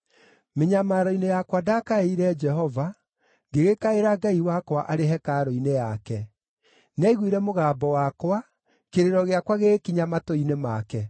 Mĩnyamaro-inĩ yakwa ndakaĩire Jehova; ngĩgĩkaĩra Ngai wakwa arĩ hekarũ-inĩ yake. Nĩ aiguire mũgambo wakwa, kĩrĩro gĩakwa gĩgĩkinya matũ-inĩ make.